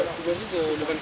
Xeyr, bu deyil.